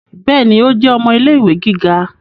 Béèni, o jẹ ọmọ ilé-ìwé gíga